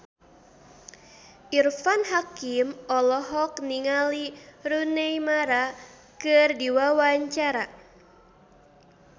Irfan Hakim olohok ningali Rooney Mara keur diwawancara